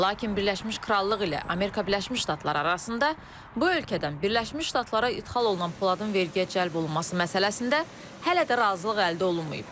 Lakin Birləşmiş Krallıq ilə Amerika Birləşmiş Ştatları arasında bu ölkədən Birləşmiş Ştatlara ixrac olunan poladın vergi cəlb olunması məsələsində hələ də razılıq əldə olunmayıb.